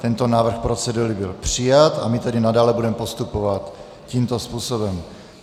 Tento návrh procedury byl přijat a my tedy nadále budeme postupovat tímto způsobem.